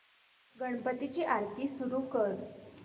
गणपती ची आरती सुरू कर